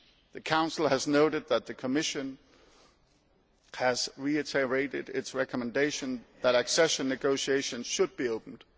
The Council has noted that the Commission has reiterated its recommendation that accession negotiations should be opened.